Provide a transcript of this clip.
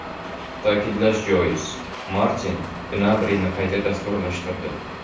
Ta’kidlash joiz, Martin Gnabrini qayta dasturlashtirdi.